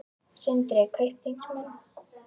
Sindri: Kaupþingsmenn?